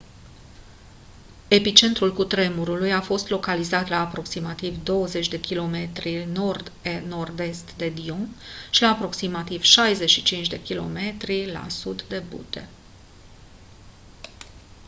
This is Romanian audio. epicentrul cutremurului a fost localizat la aproximativ 20 km 15 mile nord nord-est de dillon și la aproximativ 65 km 40 mile la sud de butte